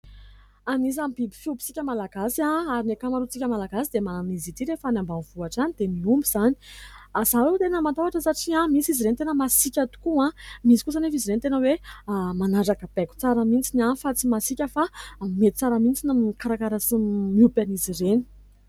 Anisan'ny biby fiompitsika malagasy ary ny ankamarontsika malagasy dia manana an'izy ity rehefa ny ambanivohitra izany dia miompy izany. Izaho aloha dia tena matahotra satria misy izy ireny tena masika tokoa , misy kosa anefa izy ireny tena hoe manaraka baiko tsara mihintsy fa tsy masika fa mety tsara mihintsy ny mikarakara sy miompy an'izy ireny.